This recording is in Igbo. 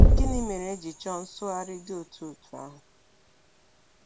Gịnị mere e ji chọọ nsụgharị dị otú otú ahụ?